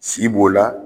Si b'o la